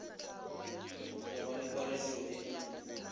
go ba le kgwaletšo e